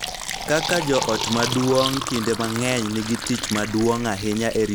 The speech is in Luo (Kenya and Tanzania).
Kaka joot maduong� kinde mang�eny nigi tich maduong� ahinya e rito tudruok gi kit oganda mar joot.